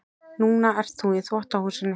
Núna ert þú í þvottahúsinu.